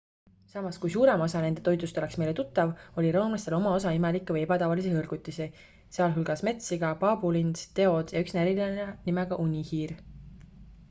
samas kui suurem osa nende toidust oleks meile tuttav oli roomlastel oma osa imelikke või ebatavalisi hõrgutisi sh metssiga paabulind teod ja üks näriline nimega unihiir